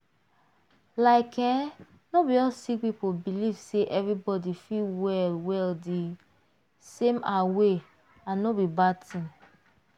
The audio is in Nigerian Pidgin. like eeh no be all sick people believe say everybody fit well well di same ah way and no be bad tin.